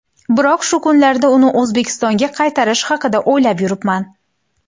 Biroq shu kunlarda uni O‘zbekistonga qaytarish haqida o‘ylab yuribman.